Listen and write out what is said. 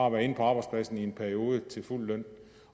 at være inde på arbejdspladsen i en periode til fuld løn